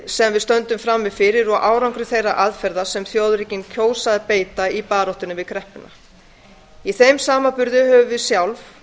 sem við stöndum frammi fyrir og árangri þeirra aðferða sem þjóðríkin kjósa að beita í baráttu við kreppuna í þeim samanburði höfum við sjálf